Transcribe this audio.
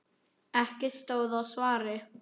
Ekki stóð á svari.